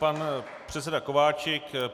Pan předseda Kováčik.